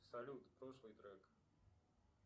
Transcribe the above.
салют прошлый трек